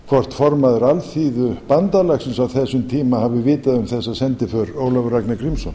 hvort formaður alþýðubandalagsins á þessum tíma hafi vitað um þessa sendiför ólafur ragnar grímsson